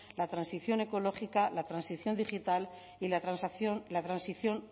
la transición ecológica la transición digital y la transición